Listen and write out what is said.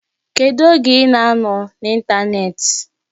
Kedu oge ị ga-anọ n'ịntanetị?